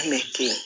An bɛ to yen